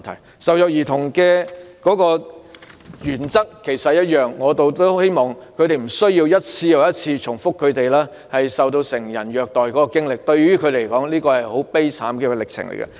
處理受虐兒童個案的原則亦一樣，希望他們無需一次又一次重複述說受到成人虐待的經歷，這對他們來說是一個很悲慘的過程。